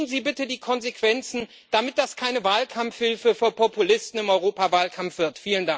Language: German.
Ziehen Sie bitte die Konsequenzen, damit das keine Wahlkampfhilfe für Populisten im Europawahlkampf wird!